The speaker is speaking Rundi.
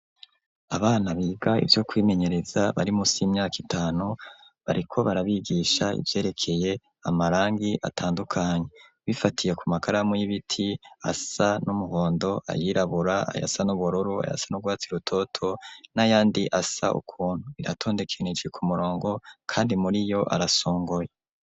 Abana biga ivyo kwimenyereza bari munsi y'imyaka itanu, bariko barabigisha ivyerekeye amarangi atandukanye bifatiye ku makaramu y'ibiti asa n'umuhondo, ayirabura, ayasa n'ubururu, ayasa n'urwatsi rutoto, n'ayandi asa ukuntu. Aratondekanije ku murongo kandi muri yo arasongoye.